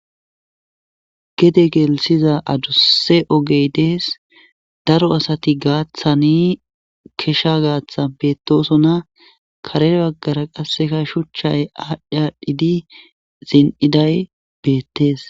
gede gelisiza adusse ogey dees daro asati gaaththani keshsha gaaththan betosona karee baggara qasseka shuchchay aadhdhaadhdhidi zin7iday beettees